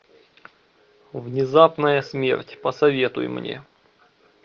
внезапная смерть посоветуй мне